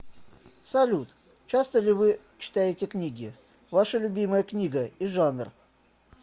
салют часто ли вы читаете книги ваша любимая книга и жанр